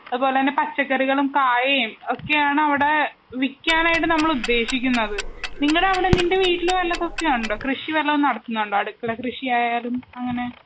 അതുപോലെ തന്നെ പച്ചക്കറികളും കായയും ഒക്കെയാണവിടെ വിക്കാനായിട്ട് നമ്മളുദ്ദേശിക്കുന്നതു. നിങ്ങടവിടെ നിന്റെ വീട്ടില് വല്ലതുമൊക്കെയുണ്ടോ? കൃഷി വല്ലതും നടത്തുന്നുണ്ടോ? അടുക്കള കൃഷി ആയാലും അങ്ങനെ.